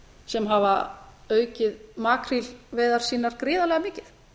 sem hafa aukið makrílveiðar sínar gríðarlega mikið